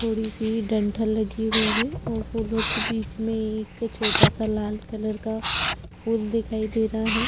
थोडी सी दंथल लगी हुई है और फुलो के बीच मे एक छोटा सा लाल कलर का फुल दिखाई दे रहा है।